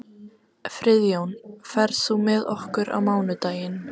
Friðjón, ferð þú með okkur á mánudaginn?